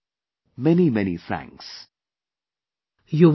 Many Many Thanks